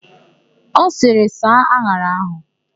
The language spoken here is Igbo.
Ọ sịrị, "saa an̄ara áhụ̀"!